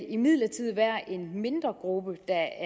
imidlertid være en mindre gruppe af